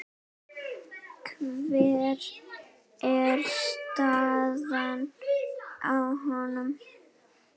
Hver er staðan á honum?